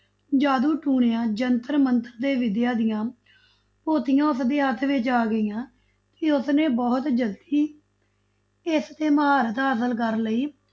ਜਾਦੂ ਟੂਣਿਆ, ਜੰਤਰ ਮੰਤਰ ਦੀ ਵਿਦਿਆ ਦੀਆਂ ਪੋਥੀਆਂ ਉਸਦੇ ਹੱਥ ਵਿੱਚ ਆ ਗਈਆਂ, ਤੇ ਉਸਨੇ ਬਹੁਤ ਜਲਦੀ ਇਸ ਤੇ ਮਹਾਰਥ ਹਾਸਲ ਕਰ ਲਈ,